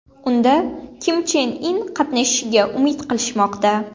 Unda Kim Chen In qatnashishiga umid qilishmoqda.